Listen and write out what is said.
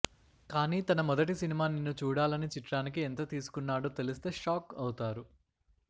కానీ తన మొదటి సినిమా నిన్ను చూడాలని చిత్రానికి ఎంత తీసుకోన్నాడో తెలిస్తే షాక్ అవుతారు